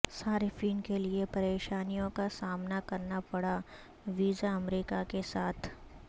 صارفین کے لئے پریشانیوں کا سامنا کرنا پڑا ویزا امریکہ کے ساتھ